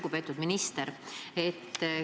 Lugupeetud minister!